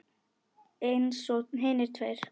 Eins og hinir tveir.